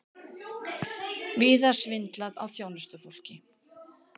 Víða svindlað á þjónustufólki